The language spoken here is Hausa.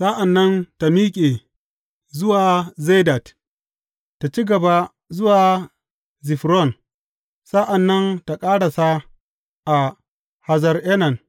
Sa’an nan tă miƙe zuwa Zedad, tă ci gaba zuwa Zifron, sa’an nan tă ƙarasa a Hazar Enan.